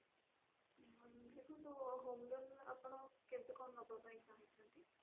ଦେଖନ୍ତୁ home loan ଆପଣ କେବେ କଣ ନବା ପାଇଁ ଚହୁଁଛନ୍ତି?